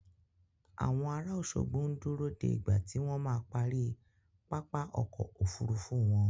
Àwọn ará Òṣogbo ń dúró de ìgbà tí wọ́n ma parí pápá ọkọ̀ Òfurufú wọn.